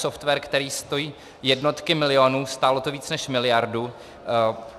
Software, který stojí jednotky milionů, stálo to víc než miliardu.